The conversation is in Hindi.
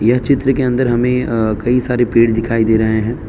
यह चित्र के अंदर हमें अ कई सारे पेड़ दिखाई दे रहे हैं।